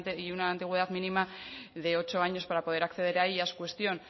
y una antigüedad mínima de ocho años para poder acceder a ellas cuestión